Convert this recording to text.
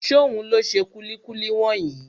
Ṣóhun ló ṣe kúlíkúlí wọ̀nyí?